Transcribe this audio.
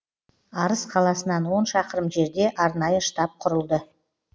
арыс қаласынан он шақырым жерде арнайы штаб құрылды